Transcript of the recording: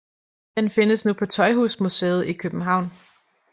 Den findes nu på Tøjhusmuseet i København